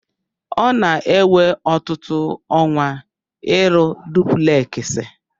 Ọ na-ewe ọtụtụ ọnwa ịrụ dupleksị.